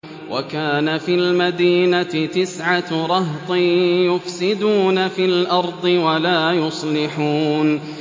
وَكَانَ فِي الْمَدِينَةِ تِسْعَةُ رَهْطٍ يُفْسِدُونَ فِي الْأَرْضِ وَلَا يُصْلِحُونَ